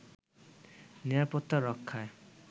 নিরাপত্তা রক্ষায়